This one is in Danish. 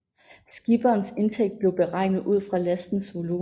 Skipperens indtægt blev beregnet ud fra lastens volumen